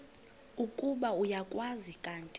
ukuba uyakwazi kanti